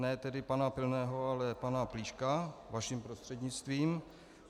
Ne tedy pana Pilného, ale pana Plíška, vaším prostřednictvím.